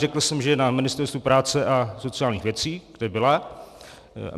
Řekl jsem, že je na Ministerstvu práce a sociálních věcí, kde byla.